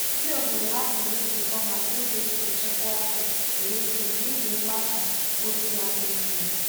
Ndị obodo hapụrụ nzukọ maka ụzọ e si echekwa ọkụ eletrik n'ihi mgbasa ozi n'adịghị mma.